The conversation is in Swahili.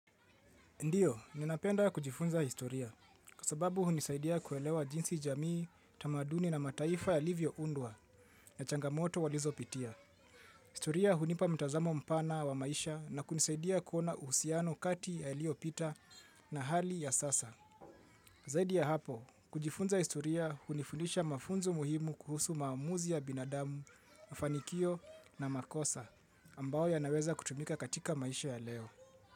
Ndiyo, ninapenda kujifunza historia kwa sababu hunisaidia kuelewa jinsi jamii tamaduni na mataifa yalivyo undwa na changamoto walizo pitia. Historia hunipa mtazamo mpana wa maisha na kunisaidia kuona uhusiano kati yaliopita na hali ya sasa. Zaidi ya hapo, kujifunza historia hunifundisha mafunzo muhimu kuhusu maamuzi ya binadamu, mafanikio na makosa ambao yanaweza kutumika katika maisha ya leo.